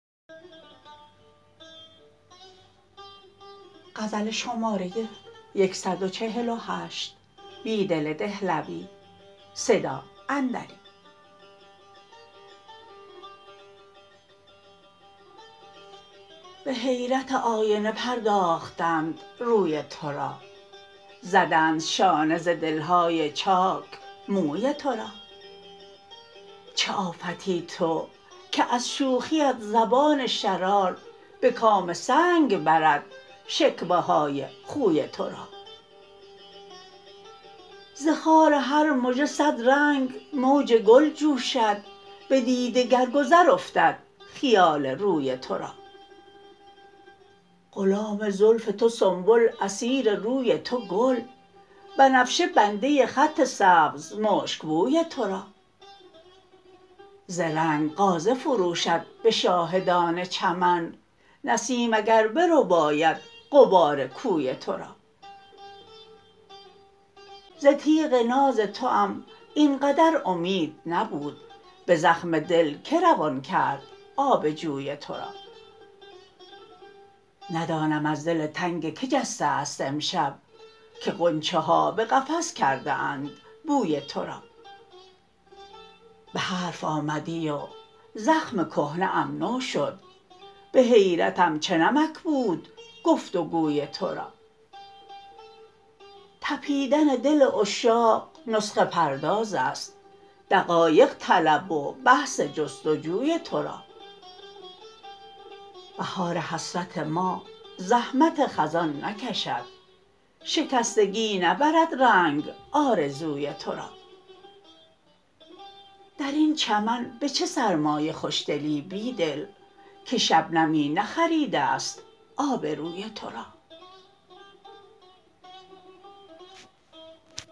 به حیرت آینه پرداختند روی تو را زدند شانه ز دلهای چاک موی تو را چه آفتی تو که از شوخیت زبان شرار به کام سنگ برد شکوه های خوی تو را زخار هر مژه صد ر نگ موج گل جوشد به دیده گر گذر افتد خیال روی تو را غلام زلف تو سنبل اسیر روی تو گل بنفشه بنده خط سبز مشکبوی تو را ز رنگ غازه فروشد به شاهدان چمن نسیم اگر برباید غبار کوی تو را ز تیغ ناز توام این قدر امید نبود به زخم دل که روان کرد آب جوی تو را ندانم از دل تنگ که جسته است امشب که غنچه ها به قفس کرده اند بوی تو را به حرف آمدی و زخم کهنه ام نو شد به حیرتم چه نمک بود گفت و گوی تو را تپیدن دل عشاق نسخه پرداز است دقایق طلب و بحث جستجوی تو را بهار حسرت ما زحمت خزان نکشد شکستگی نبرد رنگ آرزوی تو را درین چمن به چه سرمایه خوشدلی بیدل که شبنمی نخریده ست آبروی تو را